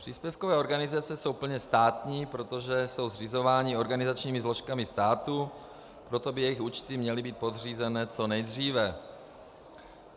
Příspěvkové organizace jsou plně státní, protože jsou zřizovány organizačními složkami státu, proto by jejich účty měly být podřízeny co nejdříve.